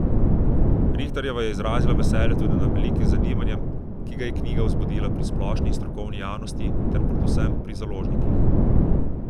Rihterjeva je izrazila veselje tudi nad velikim zanimanjem, ki ga je knjiga vzbudila pri splošni in strokovni javnosti ter predvsem pri založnikih.